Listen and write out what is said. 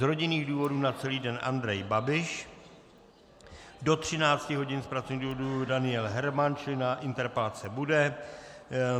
Z rodinných důvodů na celý den Andrej Babiš, do 13 hodin z pracovních důvodů Daniel Herman, čili na interpelace bude.